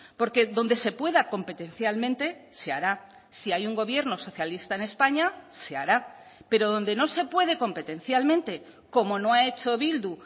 porque donde se pueda competencialmente se hará si hay un gobierno socialista en españa se hará pero donde no se puede competencialmente como no ha hecho bildu